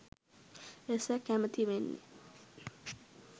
එසේ කැමැතිවෙන්නේ.